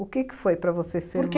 O que foi para você ser mãe? porque